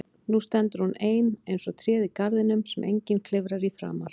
Nú stendur hún ein eins og tréð í garðinum sem enginn klifrar í framar.